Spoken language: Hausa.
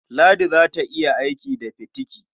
Ladi za ta iya aiki da fitiki.